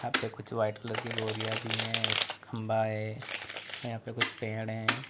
पे कुछ white colour की बोरिया भी है एक खंभा है और यहां पे कुछ पेड़ है।